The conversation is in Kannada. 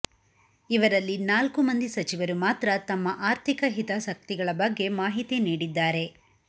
ಇವರಲ್ಲಿ ನಾಲ್ಕು ಮಂದಿ ಸಚಿವರು ಮಾತ್ರ ತಮ್ಮ ಆರ್ಥಿಕ ಹಿತಾಸಕ್ತಿಗಳ ಬಗ್ಗೆ ಮಾಹಿತಿ ನೀಡಿದ್ದಾರೆ